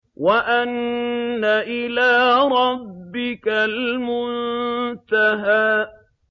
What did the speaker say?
وَأَنَّ إِلَىٰ رَبِّكَ الْمُنتَهَىٰ